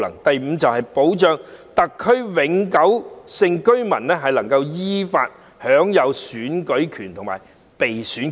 第五，保障特區永久性居民能夠依法享有選舉權和被選權。